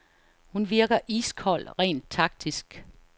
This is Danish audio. Hun virker iskold rent taktisk.